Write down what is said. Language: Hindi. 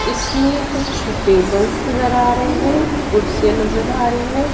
इसमें कुछ टेबल्स नजर आ रहे हैं कुर्सियां नजर आ रही है।